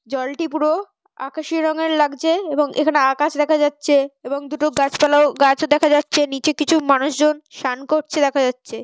জলটি পুরো আকাশি রঙের লাগছে এবং এখানে আকাশ দেখা যাচ্ছে এবং দুটো গাছপালাও গাছও দেখা যাচ্ছে নিচে কিছু মানুষজন সান করছে দেখা যাচ্ছে।